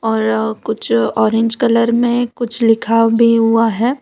और कुछ orange colour में कुछ लिखा भी हुआ है।